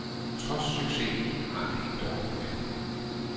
Trods succesen, har han det ikke dårligt med det.